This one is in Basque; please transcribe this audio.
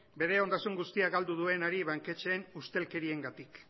bere ondasun guztia galdu duenari banketxeen ustelkeriengatik